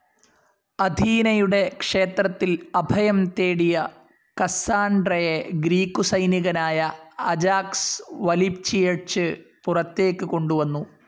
അഥീനയുടെ ക്ഷേത്രത്തിൽ അഭയം തേടിയ കസ്സാൻഡ്രയെ ഗ്രീക്കു സൈനികനായ അജാക്സ് വലിച്ചിഴച്ച് പുറത്തേക്കു കൊണ്ടുവന്നു.